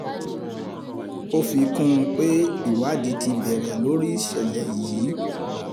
ó fi kún un pé ìwádìí ti bẹ̀rẹ̀ lórí ìṣẹ̀lẹ̀ yìí